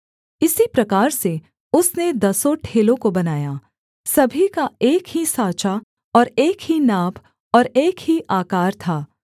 इसी प्रकार से उसने दसों ठेलों को बनाया सभी का एक ही साँचा और एक ही नाप और एक ही आकार था